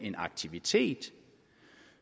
en aktivitet